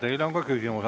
Teile on ka küsimus.